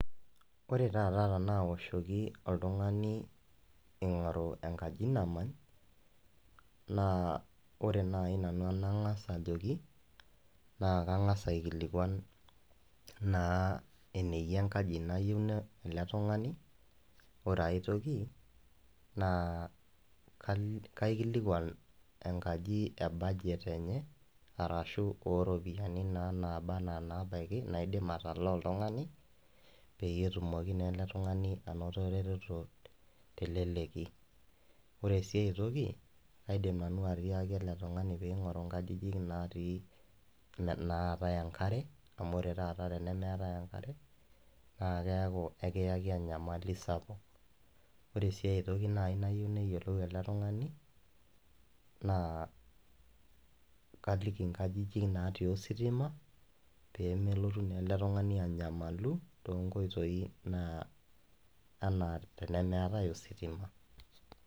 Ore taata tenaoshki oltungani eingoru enkaji namany, naa ore naaji nanu enangas ajoki naa kangas aikilikuan naa eneyia enkaji nayieu ele tungani, ore aitoki naa kaikilikuan enkaji e budget enye arashu oo ropiyiani naa naabaiki naidim naa atalaa oltungani peyie etumoki naa ele tungani anoto eretoto naa teleleki , ore sii aitoki kaidim nanu atiaki ele tungani pee eingoru nkajijik nnatai enkare amu ore taata teneeku meetai enkare naa ekiyaki enyamali sapuk ,ore sii aitoki nayieu naaji neyiolou ele tungani naa kaliki nkajijik naati ositima pee melotu naa ele tungani anyamalu too nkoitoi naa enaa tenemeetai ositima.